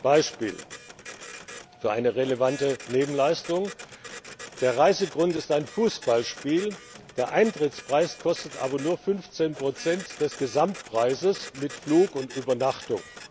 Beispiel für eine relevante Nebenleistung Der Reisegrund ist ein Fußballspiel, der Eintrittspreis beträgt aber nur 15nbsp des Gesamtpreises mit Flug und Übernachtung.